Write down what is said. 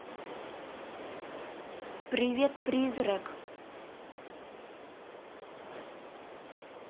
привет призрак